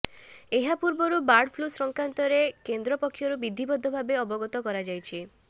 ଏହାପୂର୍ବରୁ bird flu ସଂକ୍ରାନ୍ତରେ କେନ୍ଦ୍ର ପକ୍ଷରୁ ବିଧିବଦ୍ଧ ଭାବେ ଅବଗତ କରାଯାଇଛି